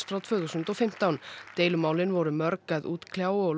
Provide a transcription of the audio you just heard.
frá tvö þúsund og fimmtán deilumálin voru mörg að útkljá og